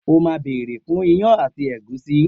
O má bèrè fun ìyan ati ègúsí